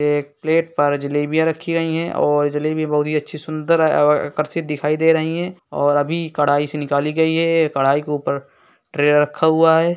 एक प्लेट पर जलेबियाँ रखी गई है और जलेबी बहुत ही अच्छी सुन्दर और आकर्षित दिखाई दे रही है और अभी कढ़ाई से निकाली गयी है ये कढ़ाई के ऊपर ट्रे रखा हुआ है।